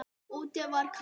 Úti var kalt.